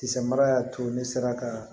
Kisɛ mara y'a to ne sera ka